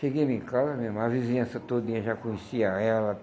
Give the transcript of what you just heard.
Chegamos em casa, minha irmã, a vizinhança todinha já conhecia ela.